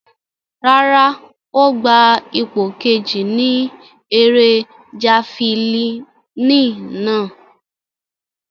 Rárá, o gba ipo keji ni ere jafilini nàa